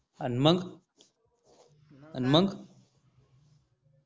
अन मग अन मग